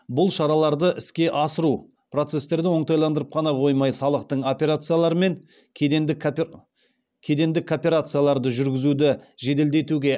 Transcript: бұл шараларды іске асыру процестерді оңтайландырып қана қоймай салықтық операциялар мен кедендік кооперацияларды жүргізуді жеделдетуге